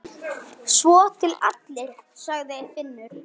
Svo til allir, sagði Finnur.